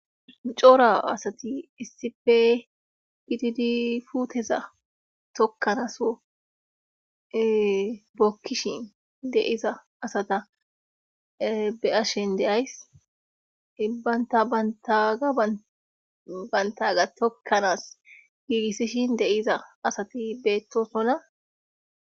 Micoora asati issife gididi puuteza tokkanaso bokkishin deiza asata be7ashen deays hibbaynta ataga bantaga tokkanaas giigissishin deiza asati beettosonna.